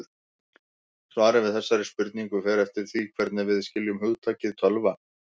Svarið við þessari spurningu fer eftir því hvernig við skiljum hugtakið tölva.